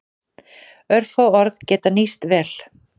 Örfá orð geta nýst vel.